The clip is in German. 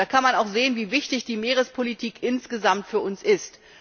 Daran kann man auch sehen, wie wichtig die Meerespolitik insgesamt für uns ist.